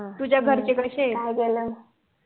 तुझ्या घरचे कशे येत